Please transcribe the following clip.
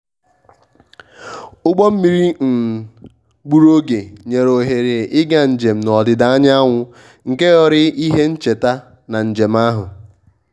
ụgbọ mmiri um gburu oge nyere ohere ịga njem n`ọdịda anyanwụ nke ghọrọ ihe ncheta na njem ahu